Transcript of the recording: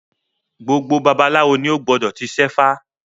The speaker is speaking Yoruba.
Gbogbo babaláwo ni ó gbọdọ̀ ti ṣẹ́fá